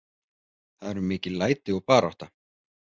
Það eru mikil læti og barátta.